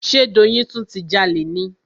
Ṣe Doyin tún ti jalè ni?